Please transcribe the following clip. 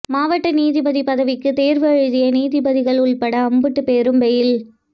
மாவட்ட நீதிபதி பதவிக்கு தேர்வு எழுதிய நீதிபதிகள் உள்பட அம்புட்டு பேரும் பெயில்